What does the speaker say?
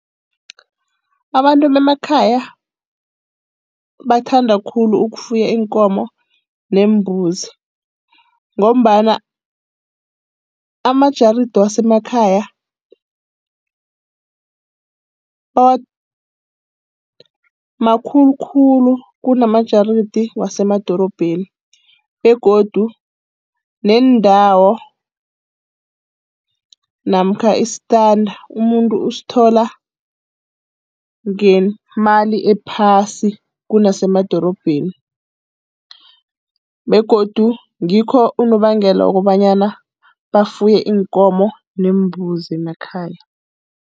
Abantu bemakhaya bathanda khulu ukufuya iinkomo neembuzi ngombana amajaridi wasemakhaya makhulu khulu kunamajaridi wasemadorobheni, begodu neendawo namkha isitanda umuntu usithola ngemali ephasi kunasemadorobheni, begodu ngikho unobangela wokobanyana bafuye iinkomo neembuzi emakhaya.